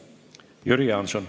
Jüri Jaanson.